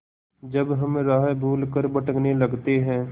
जब हम राह भूल कर भटकने लगते हैं